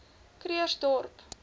krugersdorp